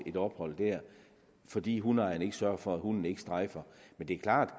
et ophold der fordi hundeejeren ikke sørger for at hunden ikke strejfer men det er klart